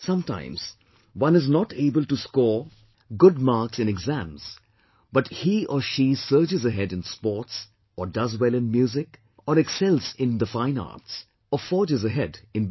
Sometimes one is not able to score good marks in exams, but he or she surges ahead in sports, or does well in music, or excels in the fine arts, or forges ahead in business